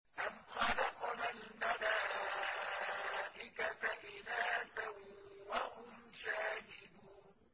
أَمْ خَلَقْنَا الْمَلَائِكَةَ إِنَاثًا وَهُمْ شَاهِدُونَ